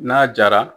N'a jara